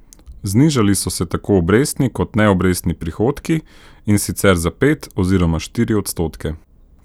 Znižali so se tako obrestni kot neobrestni prihodki, in sicer za pet oziroma štiri odstotke.